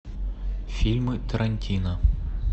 фильмы тарантино